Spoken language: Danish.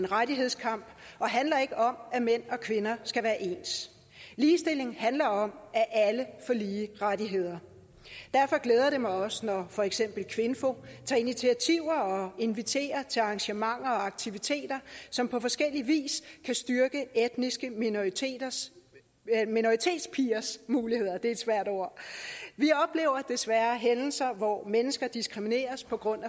rettighedskamp og handler ikke om at mænd og kvinder skal være ens ligestilling handler om at alle får lige rettigheder derfor glæder det mig også når for eksempel kvinfo tager initiativer og inviterer til arrangementer og aktiviteter som på forskellig vis kan styrke etniske minoriteters minoritetspigers muligheder det er et svært ord vi oplever desværre hændelser hvor mennesker diskrimineres på grund